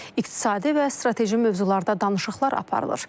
İqtisadi və strateji mövzularda danışıqlar aparılır.